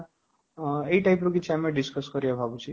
ହଁ, ଏଇ type ର କିଛି ଆମେ discuss କରିବା ବୋଲି ଭାବୁଛେ